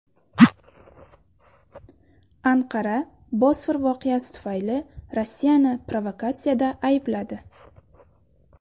Anqara Bosfor voqeasi tufayli Rossiyani provokatsiyada aybladi.